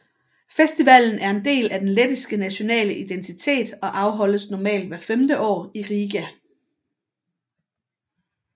Festivalen er en del af den lettiske nationale identitet og afholdes normalt hvert femte år i Riga